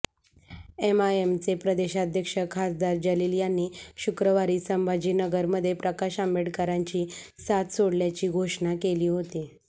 एमआयएमचे प्रदेशाध्यक्ष खासदार जलील यांनी शुक्रवारी संभाजीनगरमध्ये प्रकाश आंबेडकरांची साथ सोडल्याची घोषणा केली होती